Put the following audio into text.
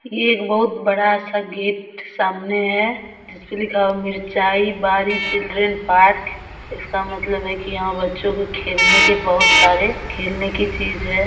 ये एक बहुत बड़ा सा गेट सामने है जिस पे लिखा हुआ है मिरचाई बाड़ी चिल्ड्रन पार्क इसका मतलब है कि यहां बच्चों के खेलने के बहुत सारे खेलने की चीज है।